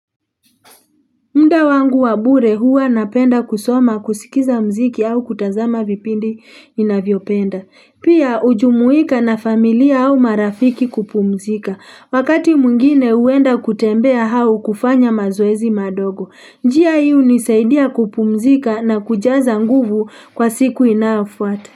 Muda wangu wa bure huwa napenda kusoma kusikiza muziki au kutazama vipindi ninavyopenda. Pia ujumuika na familia au marafiki kupumzika. Wakati mungine huenda kutembea hau kufanya mazoezi madogo. Njia hii unisaidia kupumzika na kujaza nguvu kwa siku inayofuata.